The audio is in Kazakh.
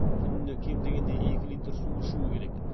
күніне кем дегенде екі литр су ішу керек